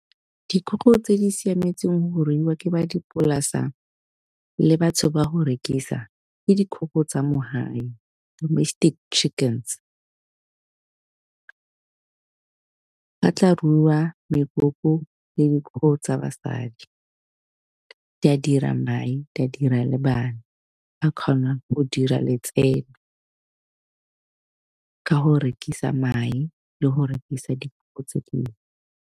Dikgogo tse di siametseng ho ruiwa ke ba dipolasa le batho ba go rekisa ke dikgogo tsa mo hae domestic chickens, ba tla ruwa mekoko le dikgogo tsa basadi di a dira mae di a dira le bana, ba kgona go dira letseno ka go rekisa mae le go rekisa dikgogo tse dingwe.